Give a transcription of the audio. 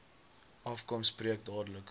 afkom spreek dadelik